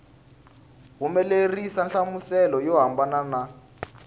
humelerisa nhlamuselo yo hambana na